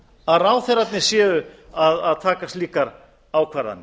að ráðherrarnir séu að taka slíkar ákvarðanir